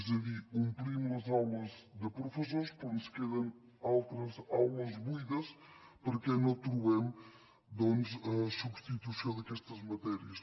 és a dir omplim les aules de professors però ens queden altres aules buides perquè no trobem doncs substitució d’aquestes matèries